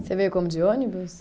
Você veio como de ônibus?